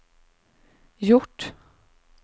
gjort